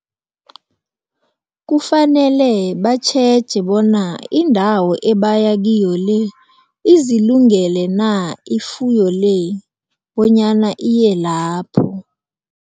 Kufanele batjheje bona indawo ebaya kiyo le izilungule na ifuyo le bonyana iye lapho.